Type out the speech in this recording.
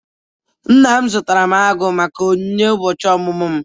Nna m zụtara agụ m ka onyinye ụbọchị ọmụmụ m.